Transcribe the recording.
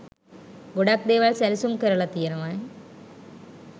ගොඩක් දේවල් සැලසුම් කරලා තියෙන්නේ.